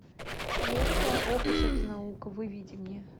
лента ох уж эта наука выведи мне